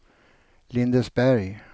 Lindesberg